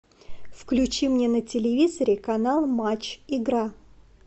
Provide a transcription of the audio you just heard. включи мне на телевизоре канал матч игра